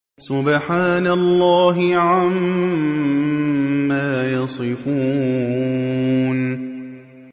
سُبْحَانَ اللَّهِ عَمَّا يَصِفُونَ